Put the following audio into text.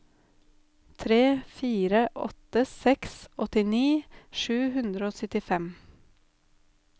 tre fire åtte seks åttini sju hundre og syttifem